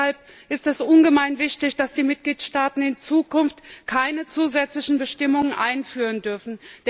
Und deshalb ist es ungemein wichtig, dass die Mitgliedstaaten in Zukunft keine zusätzlichen Bestimmungen einführen dürfen.